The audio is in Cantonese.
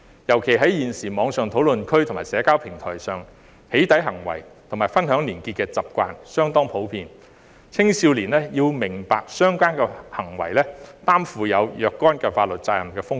尤其現時網上討論區及社交平台上"起底"行為及分享連結的習慣相當普遍，青少年要明白相關行為存在承擔若干法律責任的風險。